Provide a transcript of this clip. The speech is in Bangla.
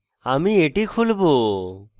আমি এটি খুলবো